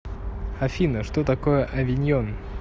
афина что такое авиньон